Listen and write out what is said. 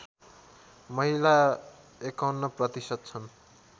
महिला ५१ प्रतिशत छन्